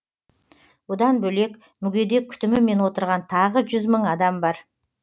бұдан бөлек мүгедек күтімімен отырған тағы жүз мың адам бар